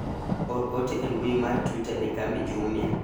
or ote e mbui mar twita ne kambi jumia